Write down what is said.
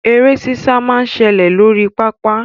Eré sísá máa ń ṣẹlẹ̀ lórí pápá.